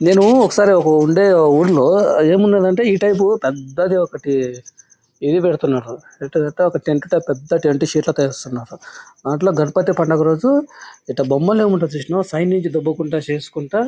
నేనూ ఒకసారి ఒక ఉండే ఓ ఊరిలో ఏమున్నదంటే ఈ టైపు పెద్దది ఒకటి ఇది పెడటున్నారు. ఎటి అంటే ఒక టెంట్ టైపు పెద్ద టెంట్ షీట్ లా తీస్తున్నారు. దాంట్లో గణపతి పండగ రోజు ఇట బొమ్మని ఏమంటారు చూసావా సైడ్ నుండి చేసుకుంటా--